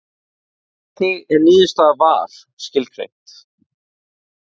Hvernig er niðurstaða VAR skilgreind?